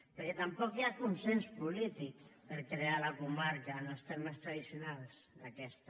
perquè tampoc hi ha consens polític per crear la comarca en els termes tradicionals d’aquesta